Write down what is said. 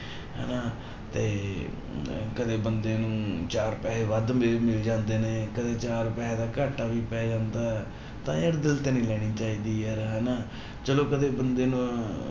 ਹਨਾ ਤੇ ਕਦੇ ਬੰਦੇ ਨੂੰ ਚਾਰ ਪੈਸੇ ਵੱਧ ਮਿਲ, ਮਿਲ ਜਾਂਦੇ ਨੇ, ਕਦੇ ਚਾਰ ਪੈਸਿਆਂ ਦਾ ਘਾਟਾ ਵੀ ਪੈ ਜਾਂਦਾ ਹੈ ਤਾਂ ਯਾਰ ਦਿਲ ਤੇ ਨੀ ਲੈਣੀ ਚਾਹੀਦੀ ਯਾਰ ਹਨਾ, ਚਲੋ ਕਦੇ ਬੰਦੇ ਨੂੰ